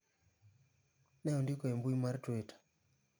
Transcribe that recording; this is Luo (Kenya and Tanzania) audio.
!.." ne ondiko e mbui mar twitter.